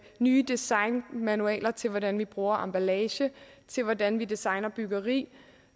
nye designmanualer til hvordan vi bruger emballage til hvordan vi designer byggeri